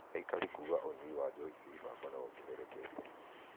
Aikari kuuga ũnyui wa njohi cia ibango nĩ wongererekete